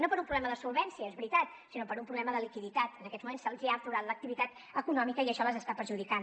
no per un problema de solvència és veritat sinó per un problema de liquiditat en aquests moments se’ls ha aturat l’activitat econòmica i això les està perjudicant